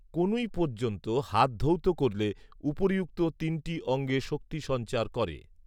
কনুই পযন্ত হাত ধৌত করলে উপরিউক্ত তিনটি অঙ্গে শক্তি সঞ্চার করে